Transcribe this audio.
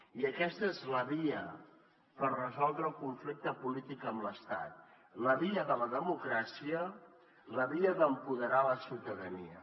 i aquesta és la via per resoldre el conflicte polític amb l’estat la via de la democràcia la via d’empoderar la ciutadania